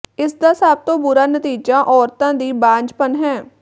ਇਸਦਾ ਸਭ ਤੋਂ ਬੁਰਾ ਨਤੀਜਾ ਔਰਤਾਂ ਦੀ ਬਾਂਝਪਨ ਹੈ